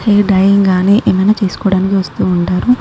Hair dyeing గాని ఏమైనా తీసుకోడానికి వస్తుంటారు.